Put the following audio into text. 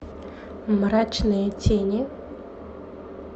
мрачные тени